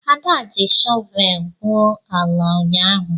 Ada ji shọvel gwuo ala ụnyahụ.